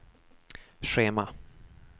schema